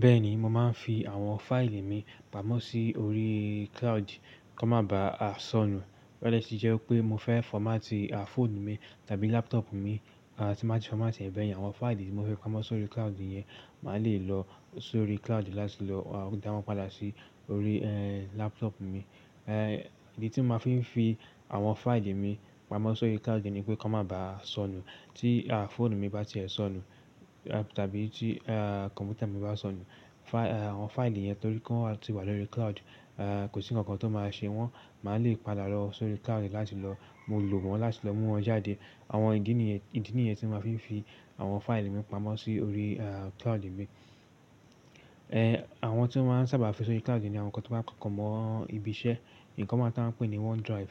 Bẹ́ẹ̀ni mo máa ń fi àwọn fáìlì mi pamọ́ sí orí cloud kí wọ́n má bàá sọnù. Sì jẹ́ pé mo fẹ́ fọ́mátì fọ́ònù mi tàbí láptop mi, tí máa sì fọ́mátì ẹ̀ bẹ́ẹ̀ yẹn, àwọn fáìlì tí mo fi pamọ́ sórí cloud yẹn mà lè lọ sórí cloud láti lọ dáwọ́n padà sí orí láptop mi. Ìdí tí máa fi ń fi àwọn fáìlì mi pamọ́ sórí cloud ni pé kí wọ́n má bàá sọnù. Tí fọ́ònù mi bá ti ẹ sọnù tàbí tí kọ̀m̀pútà mi bá sọnù, àwọn fáìlì yẹn torí kí wọ́n ti wà lórí cloud kò sí ǹkankan tó máa ṣe wọn. Mà lè padà lọ sórí cloud láti lọ lò wọ́n láti lọ mú wọn jáde. Àwọn ìdí ni yẹn, ìdí ni yẹn tí maa ń fi fi àwọn fáìlì mi pamọ́ sí orí cloud mi. Àwọn tí ó máa ń sábà fi sórí cloud ni àwọn ǹkan tí ó bá papọ̀ mọ́ ibi iṣẹ́, ǹkan wọ́n taa ń pè ní One Drive.